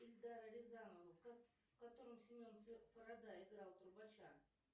эльдара рязанова в котором семен фарада играл трубача